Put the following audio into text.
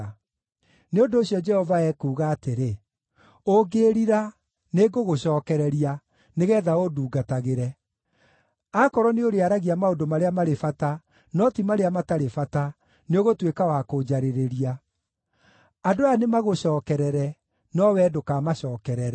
Nĩ ũndũ ũcio Jehova ekuuga atĩrĩ: “Ũngĩĩrira, nĩngũgũcookereria nĩgeetha ũndungatagĩre; akorwo nĩũrĩaragia maũndũ marĩa marĩ bata, no ti marĩa matarĩ bata, nĩũgũtuĩka wa kũnjarĩrĩria. Andũ aya nĩmagũcookerere, no wee ndũkamacookerere.